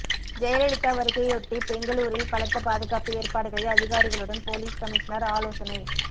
ஜெயலலிதா வருகையையொட்டி பெங்களூரில் பலத்த பாதுகாப்பு ஏற்பாடுகள் அதிகாரிகளுடன் போலீஸ் கமிஷனர் ஆலோசனை